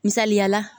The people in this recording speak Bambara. Misaliyala